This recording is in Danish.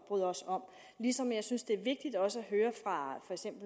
bryder os om ligesom jeg synes det er vigtigt også at høre fra